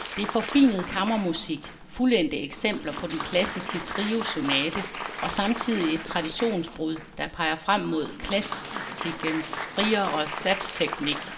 Det er forfinet kammermusik, fuldendte eksempler på den klassiske trio-sonate og samtidig et traditionsbrud, der peger frem mod klassikens friere satsteknik.